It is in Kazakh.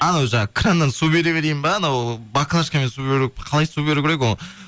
анау жаңа краннан су бере берейін ба анау баклашкамен су қалай су беру керек